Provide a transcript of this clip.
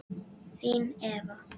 Þín Eva